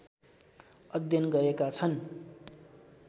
अध्ययन गरेका छन्